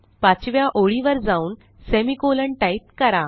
पाचव्या ओळीवर जाऊनsemicolon टाईप करा